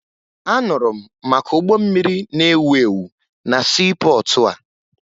Anụrụ m maka ụgbọ mmiri na-ewu ewu na siipọọtụ a